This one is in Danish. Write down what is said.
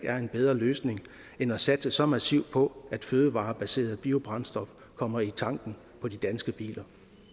er en bedre løsning end at satse så massivt på at fødevarebaseret biobrændstof kommer i tanken på de danske biler